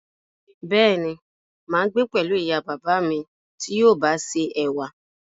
Béèni, máa gbé pẹ̀lú ìyá bàbá à mí ti yóò bá ṣe ẹ̀wà